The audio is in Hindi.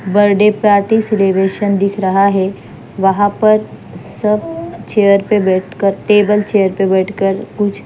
बर्थडे पार्टी सेलिब्रेशन दिख रहा है वहां पर सब चेयर पे बैठकर टेबल चेयर पर बैठकर कुछ--